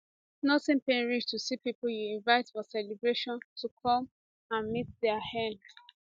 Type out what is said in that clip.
nothing pain reach to see pipo you invite for celebration to come meet dia end